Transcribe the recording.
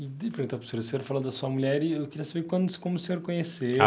perguntar para o senhor, o senhor falou da sua mulher e eu queria saber como se como o senhor conheceu.